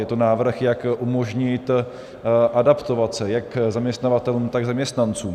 Je to návrh, jak umožnit adaptovat se jak zaměstnavatelům, tak zaměstnancům.